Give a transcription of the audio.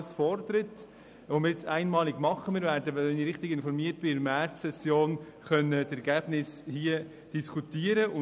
Dies wird nun einmalig geschehen, sodass wir die Ergebnisse in der Märzsession 2018 werden diskutieren können.